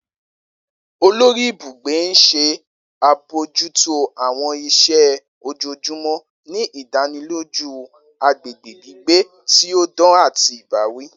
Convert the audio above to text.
Olori ibugbe n ṣe abojuto àwọn iṣẹ ojoojumọ, ni idaniloju agbegbe gbigbe ti o dan ati ibawi.